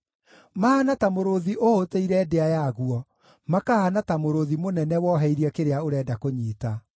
Mahaana ta mũrũũthi ũhũtĩire ndĩa yaguo, makahaana ta mũrũũthi mũnene woheirie kĩrĩa ũrenda kũnyiita.